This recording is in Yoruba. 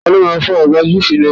Ta ló máa fọ àgbá GP náà.?